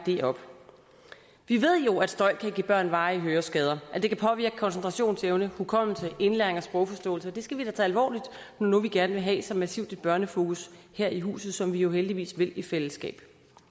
ved jo at støj kan give børn varige høreskader og at det kan påvirke koncentrationsevne hukommelse indlæring og sprogforståelse og det skal vi da tage alvorligt når nu vi gerne vil have så massivt et børnefokus her i huset som vi jo heldigvis vil i fællesskab